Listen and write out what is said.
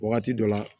Wagati dɔ la